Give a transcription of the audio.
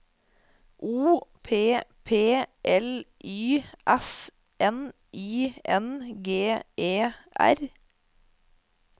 O P P L Y S N I N G E R